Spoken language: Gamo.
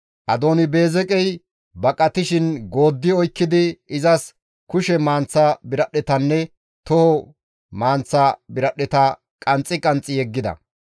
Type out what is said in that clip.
Adooni-Beezeqey baqatishin gooddi oykkidi, izas kushe manththa biradhdhetanne toho manththa biradhdheta qanxxi qanxxi yeggida.